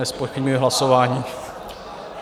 Nezpochybňuji hlasování.